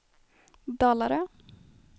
Dalarö